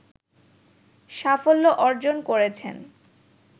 সাফল্য অর্জন করেছেন